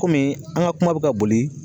Kɔmi an ga kuma be ka boli